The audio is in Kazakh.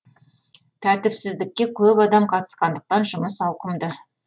тәртіпсіздікке көп адам қатысқандықтан жұмыс ауқымды